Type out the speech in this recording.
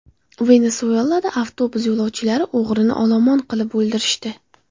Venesuelada avtobus yo‘lovchilari o‘g‘rini olomon qilib o‘ldirishdi.